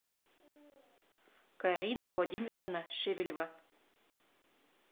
карина владимировна шевелева